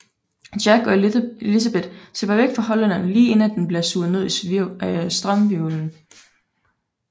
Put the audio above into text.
Jack og Elizabeth slipper væk fra Hollænderen lige inden at den bliver suget ned i strømhvirvlen